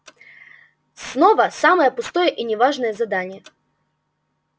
снова самое пустое и не важное задание